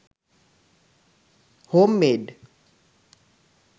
homemade